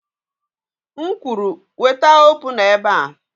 M kwuru, weta opuna ebe a!